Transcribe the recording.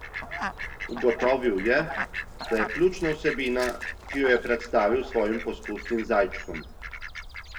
Ugotovil je, da je ključna vsebina, ki jo je predstavil svojim poskusnim zajčkom.